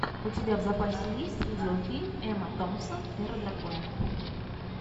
у тебя в запасе есть видеофильм эмма томпсон эра драконов